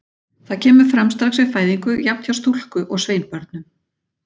Það kemur fram strax við fæðingu, jafnt hjá stúlku- og sveinbörnum.